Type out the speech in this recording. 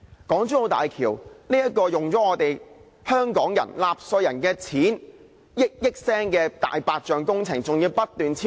港珠澳大橋這項花了香港納稅人以億元計金錢的"大白象"工程，更要不斷超支。